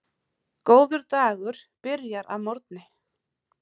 Góður dagur byrjar að morgni.